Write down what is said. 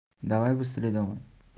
давай быстрей давай